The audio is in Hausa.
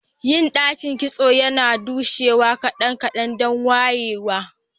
Yin dakin kitso yana dushewa kadan-kadan dan wayewa.